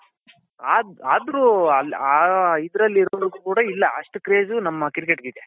ಅದ್ರು ಆ ಇದ್ರಲ್ಲಿರೋವಷ್ಟು ಕೂಡ ಇಲ್ಲ ಅಷ್ಟು craze ನಮ್ಮ cricket ಗೆ ಇದೆ